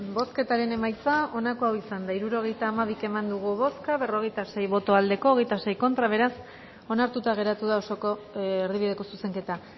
bozketaren emaitza onako izan da hirurogeita hamabi eman dugu bozka berrogeita sei boto aldekoa veintiséis contra beraz onartuta geratuta da osoko erdibideko zuzenketa